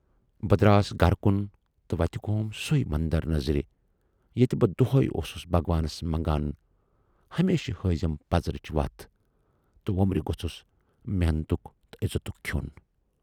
بہٕ دراس گرٕ کُن تہٕ وَتہِ گوم سُے مندر نظرِ ییتہِ بہٕ دۅہٕے اوسُس بھگوانس منگان، ہمیشہِ ہٲوزٮ۪م پَزرٕچ وَتھ تہٕ وُمبرٕ گوژھُس محنتُک تہٕ عزتُک کھیون